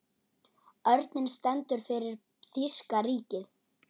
Örninn stendur fyrir þýska ríkið.